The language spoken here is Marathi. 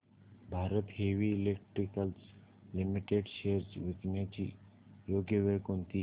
Bharat heavy electricals limited shares विकण्याची योग्य वेळ कोणती